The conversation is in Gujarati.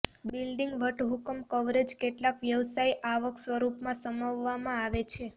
બિલ્ડિંગ વટહુકમ કવરેજ કેટલાક વ્યવસાય આવક સ્વરૂપમાં સમાવવામાં આવેલ છે